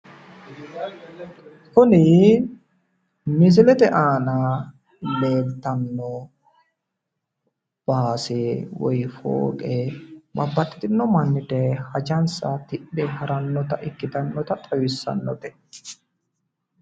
kuni misilete aana leeltanno baase woy foowe babbaxxino manni daye hajansa tidhe harannota ikkitinota xawissaannote.